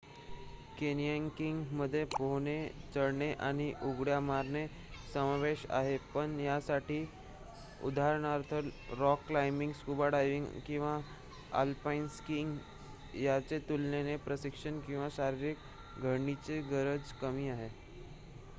कॅन्यनिंगमध्ये पोहणे चढणे आणि उड्या मारणे यांचा समावेश आहे -- पण यासाठी उदाहरणार्थ रॉक क्लायंबिंग स्कूबा डायव्हिंग किंवा आलपाईन स्किंग यांच्या तुलनेने प्रशिक्षण किंवा शारीरिक घडणीची गरज कमी आहे